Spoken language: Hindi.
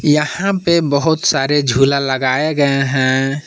यहां पे बहुत सारे झूला लगाए गए हैं।